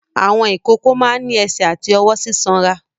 Àwọn ìkókó máa ń ní ẹsẹ̀ àti ọwọ́ sísanra.